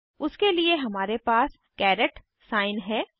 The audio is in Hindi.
उसके लिए हमारे पास कैरेट साइन है